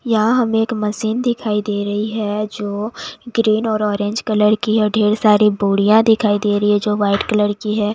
यहाँ हमें एक मशीन दिखाई दे रही है जो ग्रीन और ऑरेंज कलर की है ढेर सारी बोरियां दिखाई दे रही है जो व्हाइट कलर की है।